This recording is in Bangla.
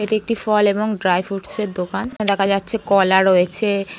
এটি একটি ফল এবং ড্রাই ফ্রুটস -এর দোকান দেখা যাচ্ছে কলা রয়েছে--